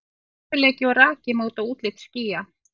Stöðugleiki og raki móta útlit skýja.